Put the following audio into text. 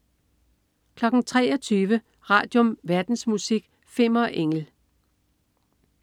23.00 Radium. Verdensmusik. Fimmer Engel